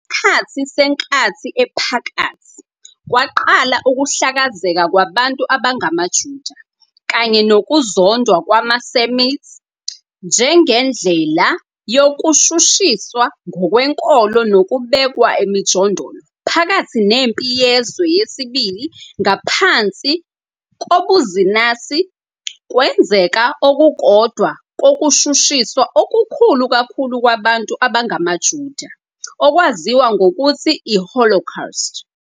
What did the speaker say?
Ngesikhathi seNkathi Ephakathi, kwaqala ukuhlakazeka kwabantu abangamaJuda, kanye nokuzondwa kwamaSemite njengendlela yokushushiswa ngokwenkolo nokubekwa emijondolo. Phakathi neMpi Yezwe II, ngaphansi kobuzinasi, kwenzeka okukodwa kokushushiswa okukhulu kakhulu kwabantu abangamaJuda, okwaziwa ngokuthi iHolocaust.